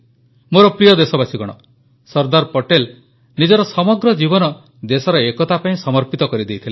ମୋର ପ୍ରିୟ ଦେଶବାସୀଗଣ ସର୍ଦ୍ଦାର ପଟେଲ ନିଜର ସମଗ୍ର ଜୀବନ ଦେଶର ଏକତା ପାଇଁ ସମର୍ପିତ କରିଦେଇଥିଲେ